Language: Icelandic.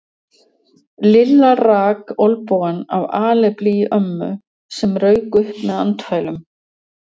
Lilla rak olnbogann af alefli í ömmu sem rauk upp með andfælum.